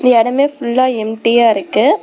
இந்த இடமே ஃபுல்லா எம்டியா இருக்கு.